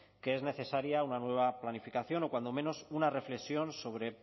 que es necesaria una nueva planificación o cuando menos una reflexión sobre